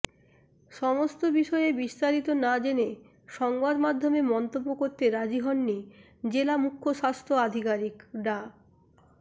সমস্ত বিষয়ে বিস্তারিত না জেনে সংবাদমাধ্যমে মন্তব্য করতে রাজি হননি জেলা মুখ্য স্বাস্থ্য আধিকারিক ডা